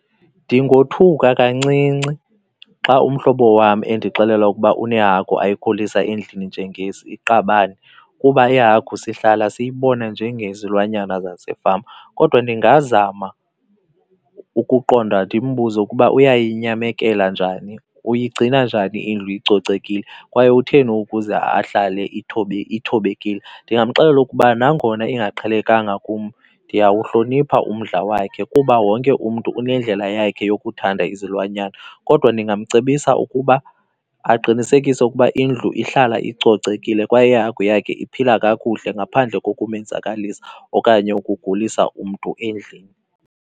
Ndingothuka kancinci xa umhlobo wam endixelela ukuba unehagu ayikhulisa endlini iqabane kuba ihagu sihlala siyibona njengezilwanyana zasefama. Kodwa ndingazama ukuqonda ndimbuze ukuba uyayinyamekela njani, uyigcina njani indlu icocekile kwaye utheni ukuze ahlale ithobekileyo. Ndingamxelela ukuba nangona ingaqhelekanga kum ndiyawuhlonipha umdla wakhe kuba wonke umntu unendlela yakhe yokuthanda izilwanyana. Kodwa ndingamcebisa ukuba aqinisekise ukuba indlu ihlala icocekile kwaye ihagu yakhe iphila kakuhle ngaphandle kokumenzakalisa okanye ukugulisa umntu endlini.